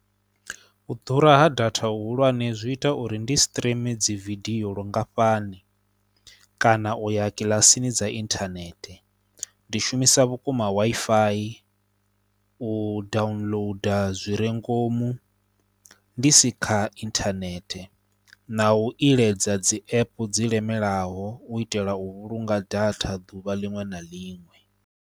U ḓura ha data hu hulwane zwi ita uri ndi streamer dzi vidio lungafhani kana u ya kilasini dza inthanethe. Ndi shumisa vhukuma Wi-Fi u downloader zwi re ngomu ndi si kha inthanethe na u iledza dzi app dzi lemelaho u itela u vhulunga data ḓuvha liṅwe na liṅwe.